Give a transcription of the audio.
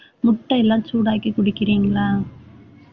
முட்டை எல்லாம் சூடாக்கி குடிக்கிறீங்களா?